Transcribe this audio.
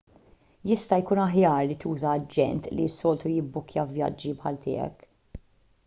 jista' jkun aħjar li tuża aġent li s-soltu jibbukkja vjaġġi bħal tiegħek